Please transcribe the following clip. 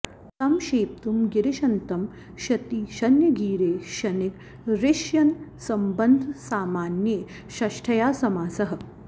कं क्षेप्तुं गिरिशन्तं श्यति श्यन्गीरे श्यन्गिरिश्यन्सम्बन्धसामान्ये षष्ठ्या समासः